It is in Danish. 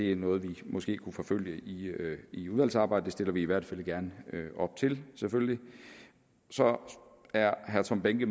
er noget vi måske kunne forfølge i udvalgsarbejdet det stiller vi i hvert fald gerne op til selvfølgelig så er herre tom behnke